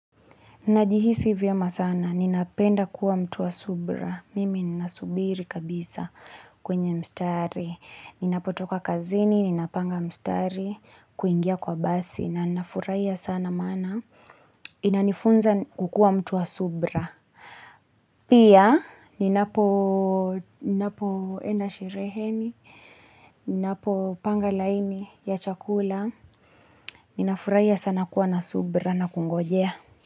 Najihisi vyema sana, ninapenda kuwa mtuwa subra. Mimi ninasubiri kabisa kwenye mstari. Ninapotoka kazini, ninapanga mstari, kuingia kwa basi na nafurahia sana mana. Inanifunza kukua mtuwa subra. Pia, ninapo enda shereheni, ninapo panga laini ya chakula. Ninafurahia sana kuwa na subra na kungojea.